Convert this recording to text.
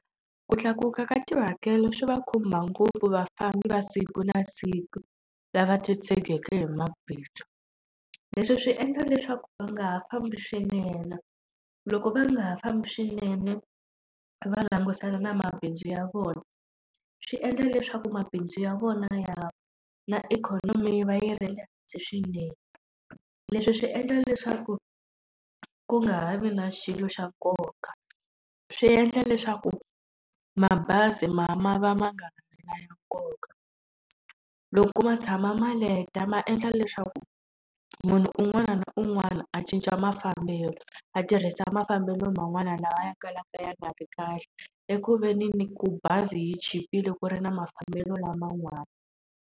Ku tlakuka ka tihakelo swi va khumba ngopfu vafambi va siku na siku, lava titshegeke hi . Leswi swi endla leswaku va nga ha fambi swinene, loko va nga ha fambi swinene va langutane na mabindzu ya vona, swi endla leswaku mabindzu ya vona na ikhonomi va yi ri le hansi swinene. Leswi swi endla leswaku ku nga ha vi na xilo xa nkoka, swi endla leswaku mabazi ma ma va ma nga ha ri na nkoka. Loko ma tshama ma leta ma endla leswaku munhu un'wana na un'wana a cinca mafambelo, a tirhisa mafambelo man'wana lawa ya kalaka ya nga ri kahle eku ve ni ni ku bazi yi chipile ku ri na mafambelo laman'wana.